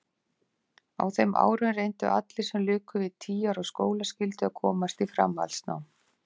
Á þeim árum reyndu allir sem luku við tíu ára skólaskyldu að komast í framhaldsnám.